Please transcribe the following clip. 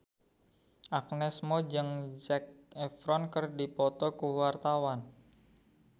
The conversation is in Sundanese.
Agnes Mo jeung Zac Efron keur dipoto ku wartawan